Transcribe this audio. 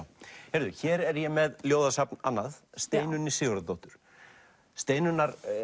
heyrðu hér er ég með annað Steinunni Sigurðardóttur Steinunnar